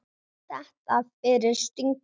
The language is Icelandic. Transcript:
Þetta fyrir stingur í stúf.